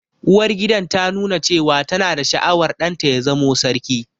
Uwargidan ta nuna cewa ta na da sha'awar ɗan ta ya zamo sarki